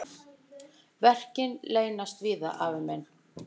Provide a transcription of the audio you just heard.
Verkin leynast víða, afi minn.